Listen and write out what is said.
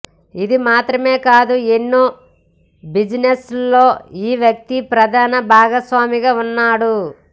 ఇది మాత్రమే కాదు ఎన్నో బిజినెస్ ల్లో ఈ వ్యక్తి ప్రధాన భాగస్వామిగా ఉన్నాడు